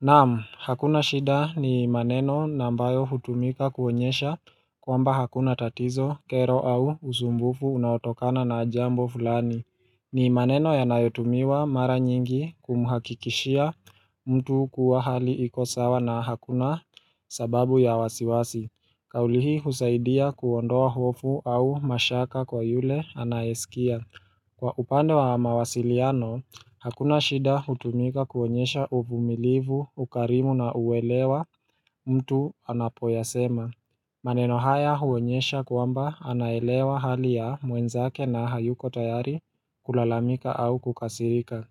Naam, hakuna shida ni maneno na ambayo hutumika kuonyesha kwamba hakuna tatizo, kero au usumbufu unaotokana na jambo fulani. Ni maneno yanayotumiwa mara nyingi kumhakikishia mtu kuwa hali iko sawa na hakuna sababu ya wasiwasi. Kauli hii husaidia kuondoa hofu au mashaka kwa yule anayesikia. Kwa upande wa mawasiliano, hakuna shida hutumika kuonyesha uvumilivu, ukarimu na uelewa mtu anapoyasema. Maneno haya huonyesha kwamba anaelewa hali ya mwenzake na hayuko tayari kulalamika au kukasirika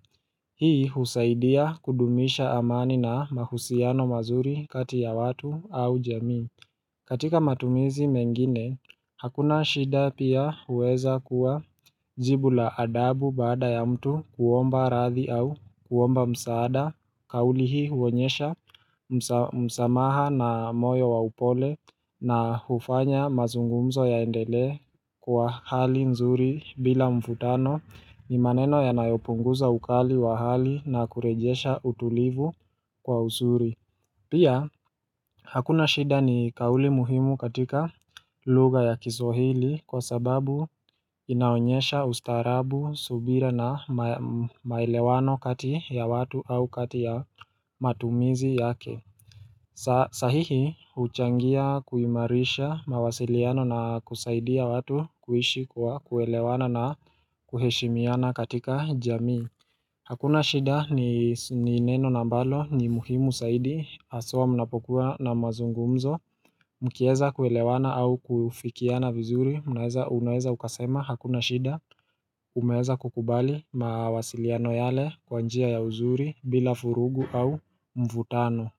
Hii husaidia kudumisha amani na mahusiano mazuri kati ya watu au jamii. Katika matumizi mengine, hakuna shida pia huweza kuwa jibu la adabu baada ya mtu kuomba radhi au kuomba msaada, kauli hii huonyesha msamaha na moyo wa upole na hufanya mazungumzo yaendelee kwa hali nzuri bila mvutano ni maneno yanayopunguza ukali wa hali na kurejesha utulivu kwa uzuri. Pia, hakuna shida ni kauli muhimu katika lugha ya kiswahili kwa sababu inaonyesha ustaarabu, subira na maelewano kati ya watu au kati ya matumizi yake. Sahihi, huchangia kuimarisha mawasiliano na kusaidia watu kuishi kwa kuelewana na kuheshimiana katika jamii. Hakuna shida ni neno na ambalo ni muhimu zaidi haswa mnapokuwa na mazungumzo mkiweza kuelewana au kufikiana vizuri mnaweza unaweza ukasema hakuna shida umeweza kukubali mawasiliano yale kwa njia ya uzuri bila vurugu au mvutano.